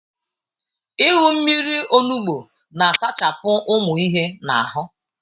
Ịṅụ mmiri olugbo na-asachapụ ụmụ ihe na ahụ.